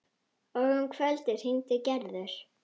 Og um kvöldið hringdi Gerður.